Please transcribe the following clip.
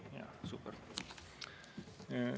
Super!